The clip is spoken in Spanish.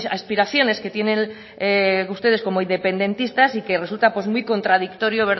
aspiraciones que tienen ustedes como independentistas y que resulta muy contradictorio